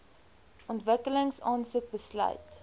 ontwikkeling aansoek besluit